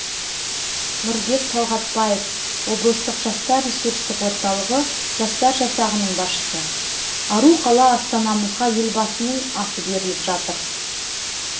нұрбек талғатбаев облыстық жастар ресурстық орталығы жастар жасағының басшысы ару қала астанамызға елбасының аты беріліп жатыр